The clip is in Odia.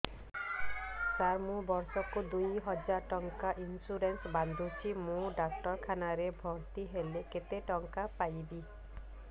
ସାର ମୁ ବର୍ଷ କୁ ଦୁଇ ହଜାର ଟଙ୍କା ଇନ୍ସୁରେନ୍ସ ବାନ୍ଧୁଛି ମୁ ଡାକ୍ତରଖାନା ରେ ଭର୍ତ୍ତିହେଲେ କେତେଟଙ୍କା ପାଇବି